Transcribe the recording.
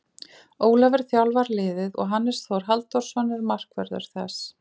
Ólafur þjálfar liðið og Hannes Þór Halldórsson er markvörður þess.